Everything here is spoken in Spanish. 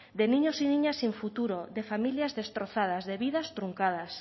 de niños y niñas sin futuro de familias destrozadas de vidas truncadas